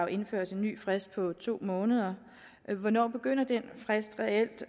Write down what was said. indføres en ny frist på to måneder hvornår begynder den frist reelt